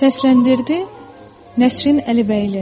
Səsləndirdi Nəsrin Əlibəyli.